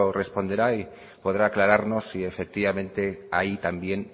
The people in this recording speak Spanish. responderá y podrá aclararnos si efectivamente ahí también